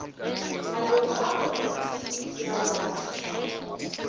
maloko a komiti ya wate